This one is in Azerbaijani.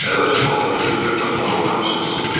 Əvvəlcə baltanı götürüb daxmanın qapısını sındırdım.